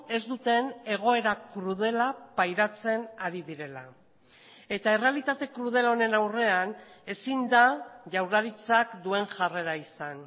ez duten egoera krudela pairatzen ari direla eta errealitate krudel honen aurrean ezin da jaurlaritzak duen jarrera izan